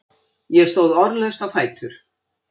Ég stóð orðlaust á fætur.